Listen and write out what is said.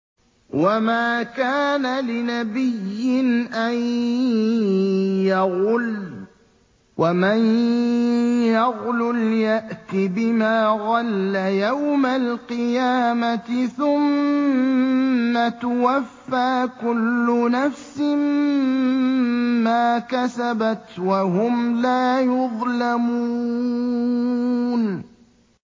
وَمَا كَانَ لِنَبِيٍّ أَن يَغُلَّ ۚ وَمَن يَغْلُلْ يَأْتِ بِمَا غَلَّ يَوْمَ الْقِيَامَةِ ۚ ثُمَّ تُوَفَّىٰ كُلُّ نَفْسٍ مَّا كَسَبَتْ وَهُمْ لَا يُظْلَمُونَ